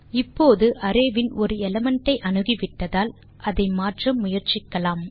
இப்போது அரே வின் ஒரு எலிமெண்ட் ஐ அணுகிவிட்டதால் அதை மாற்ற முயற்சிக்கலாம்